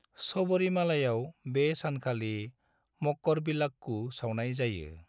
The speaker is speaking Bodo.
सबरिमालायाव बे सानखालि मकरविलाक्कू सावनाय जायो।